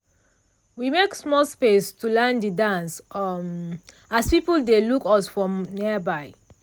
we make small space to learn de dance um as people dey look us for nearby.